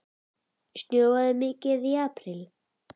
Snjóaði mikið í apríl?